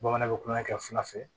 Bamananw bɛ kulonkɛ kɛ fila fɛ